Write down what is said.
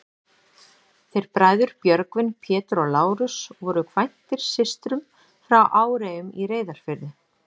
Þeir bræður, Björgvin, Pétur og Lárus, voru kvæntir systrum frá Áreyjum í Reyðarfirði.